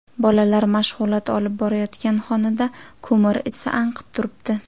Bolalar mashg‘ulot olib borayotgan xonada ko‘mir isi anqib turibdi.